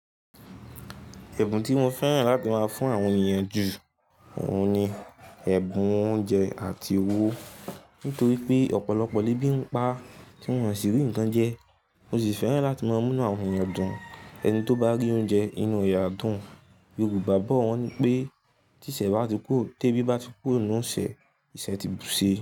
Ẹ̀bùn tí mo fẹ́ràn láti máa fún àwọn ènìyàn ju òun ni ẹ̀bùn oúnjẹ àti owó. Nítorí pé ọ̀pọ̀lọpọ̀ lẹ́bìn pa tí wọ́n kò sì rí ǹkan jẹ, mo sì fẹ́ràn láti máa múnú àwọn ènìyàn dùn. Ẹni tí ó bá rí oúnjẹ inú re à dùn, gbogbo bàbá wọn ni pé tí ìṣẹ́ bá ti kúrò, tí ẹbí bá ti kúrò nínú ìṣẹ̀, ìṣẹ̀ ti ṣè.